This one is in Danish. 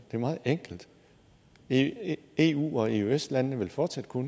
det er meget enkelt eu eu og eøs landene vil fortsat kunne